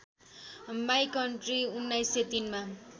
my country १९०३ मा